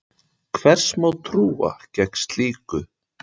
Hvers má trú gegn slíku?